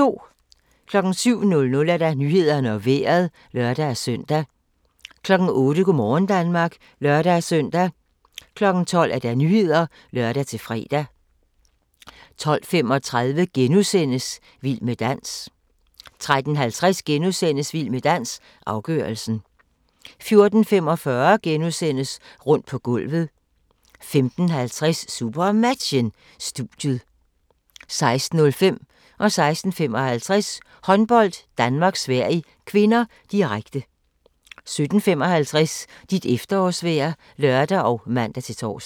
07:00: Nyhederne og Vejret (lør-søn) 08:00: Go' morgen Danmark (lør-søn) 12:00: Nyhederne (lør-fre) 12:35: Vild med dans * 13:50: Vild med dans - afgørelsen * 14:45: Rundt på gulvet * 15:50: SuperMatchen: Studiet 16:05: Håndbold: Danmark-Sverige (k), direkte 16:55: Håndbold: Danmark-Sverige (k), direkte 17:55: Dit efterårsvejr (lør og man-tor)